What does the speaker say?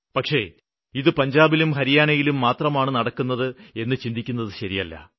പക്ഷേ ഇത് പഞ്ചാബിലും ഹരിയാനയിലും മാത്രമാണ് നടക്കുന്നത് എന്ന് ചിന്തിക്കുന്നത് ശരിയല്ല